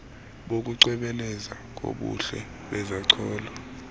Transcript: bokucwebezela kobuhle bezacholo